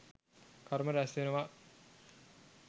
කර්ම රැස්වෙනවා..